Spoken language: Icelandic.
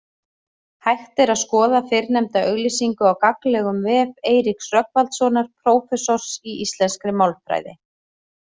Hægt er skoða fyrrnefnda auglýsingu á gagnlegum vef Eiríks Rögnvaldssonar prófessors í íslenskri málfræði.